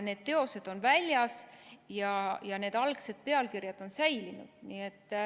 Need teosed on väljas ja nende algsed pealkirjad on säilinud.